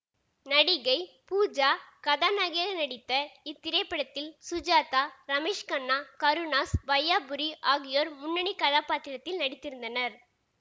நடிகை பூஜா கதாநாயகியாக நடித்த இத்திரைப்படத்தில் சுஜாதா ரமேஷ் கண்ணா கருணாஸ் வையாபுரி ஆகியோர் முன்னணி கதாபாத்திரத்தில் நடித்திருந்தனர்